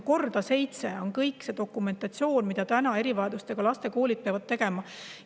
Korda seitse on kogu see dokumentatsioon, mida erivajadustega laste koolid peavad.